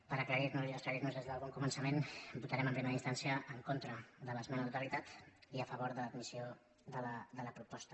per aclarir nos i aclarir nos des d’un bon començament votarem en primera instància en contra de l’esmena a la totalitat i a favor de l’admissió de la proposta